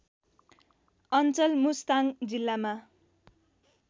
अञ्चल मुस्ताङ जिल्लामा